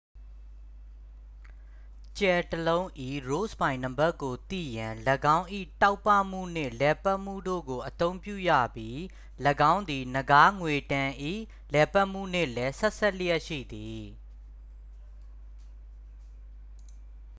ကြယ်တစ်လုံး၏ rossby နံပါတ်ကိုသိရန် ၎င်း၏ တောက်ပမှုနှင့်လည်ပတ်မှုတို့ကို အသုံးပြုရပြီး ၎င်းသည် နဂါးငွေ့တန်း၏ လှည်ပတ်မှုနှင့်လည်း ဆက်စပ်လျက်ရှိသည်